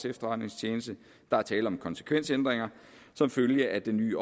efterretningstjeneste der er tale om konsekvensændringer som følge af den nye